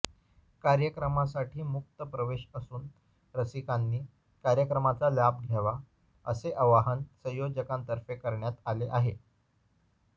कार्यक्रमासाठी मुक्त प्रवेश असून रसिकांनी कार्यक्रमाचा लाभ घ्यावा असे आवाहन संयोजकांतर्फे करण्यात आले आहे